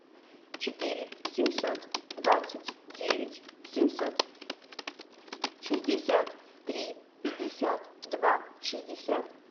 четыре семьсот двадцать девять семьсот шестьдесят три пятьдесят два шестьдесят